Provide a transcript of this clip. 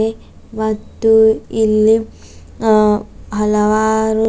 ದೆ ಮತ್ತು ಇಲ್ಲಿ ಅ ಹಲವಾರು--